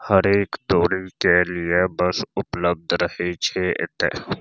हर एक दोड़ी के लिए बस उपलब्ध रहे छे एते।